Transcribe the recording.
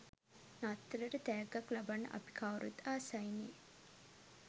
නත්තලට තැග්ගක් ලබන්න අපි කවුරුත් ආසයිනේ.